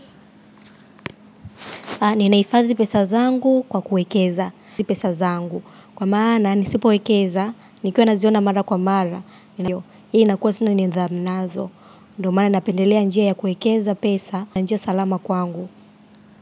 Ninahifadhi pesa zangu kwa kuwekeza. Ni pesa zangu. Kwa maana nisipowekeza. Nikiwanaziona mara kwa mara. Hii nakuwa sina nidhamu nazo. Ndo maana napendelea njia ya kuwekeza pesa. Ndo njia salama kwangu.